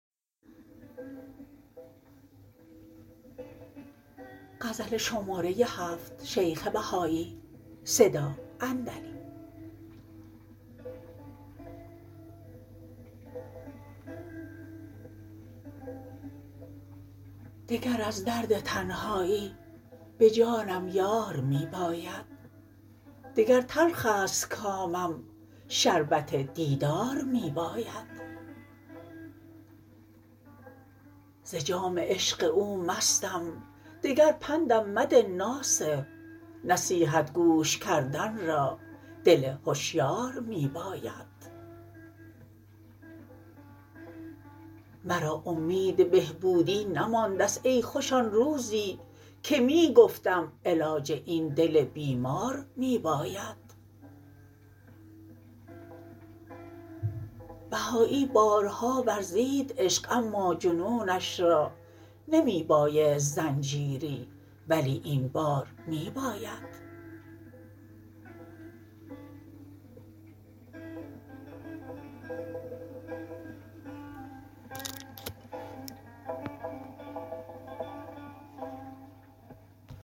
دگر از درد تنهایی به جانم یار می باید دگر تلخ است کامم شربت دیدار می باید ز جام عشق او مستم دگر پندم مده ناصح نصیحت گوش کردن را دل هشیار می باید مرا امید بهبودی نماندست ای خوش آن روزی که می گفتم علاج این دل بیمار می باید بهایی بارها ورزید عشق اما جنونش را نمی بایست زنجیری ولی این بار می باید